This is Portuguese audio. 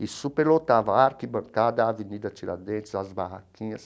E superlotava a arquibancada, a Avenida Tiradentes, as barraquinhas.